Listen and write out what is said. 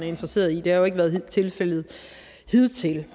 interesseret i det har jo ikke været tilfældet hidtil det